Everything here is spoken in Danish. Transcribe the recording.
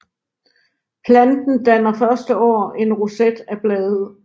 Planten danner første år en roset af blade